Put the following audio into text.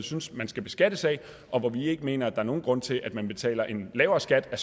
synes man skal beskattes af og hvor vi ikke mener at er nogen grund til at man betaler en lavere skat af